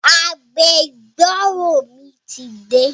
Agbẹjọ́rò mi ti dé